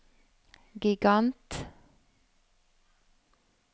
gigant